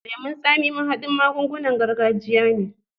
Lemon tsami mahaɗin magungunan gargajiya ne.